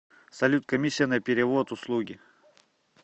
салют комиссия на перевод услуги